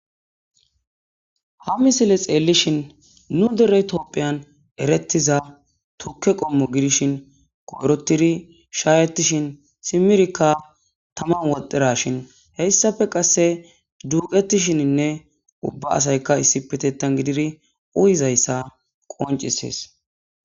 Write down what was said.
ha misile xeellishin nu dere topphiyan erettiza tukke qommo gidishin koyrotidi shaayetishin simirkka taman woxdashin heyssafe qasse duuqetishininne ubba asayka issipetettan gididi uyizayssa qoncisees